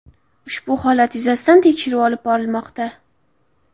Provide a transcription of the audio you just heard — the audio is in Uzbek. Ushbu holat yuzasidan tekshiruv olib borilmoqda.